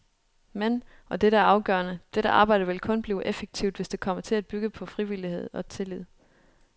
Men, og det er afgørende, dette arbejde vil kun blive effektivt, hvis det kommer til at bygge på frivillighed og tillid.